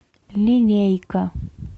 линейка